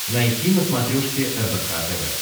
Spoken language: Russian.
найти на смотрешке рбк тв